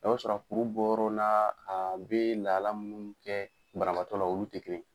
Dow be sɔrɔ kuru bɔ yɔrɔw la, a bɛ lahalaya munnu kɛ banabaatɔ la olu tɛ kelen ye.